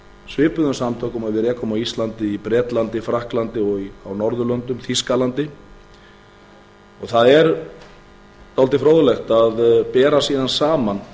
svipuðum samtökum og við rekum á íslandi í bretlandi frakklandi og á norðurlöndum þýskalandi og það er dálítið fróðlegt að bera síðan saman